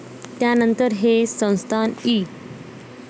त्यानंतर हे संस्थान इ.